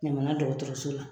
Ɲamana dɔgɔtɔrɔso la.